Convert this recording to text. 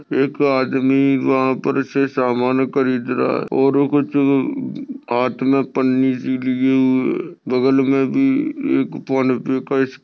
एक आदमी वाहा पर से समान वगैरे खरीद रहा है और कुछ हात मे पन्नी सी लिए हुए बगल मे भी एक फोनपे का--